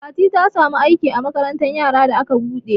Fati ta samu aiki a makarantar yara da aka buɗe.